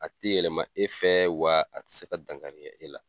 A ti yɛlɛma e fɛ, wa a ti se ka dangari kɛ e la.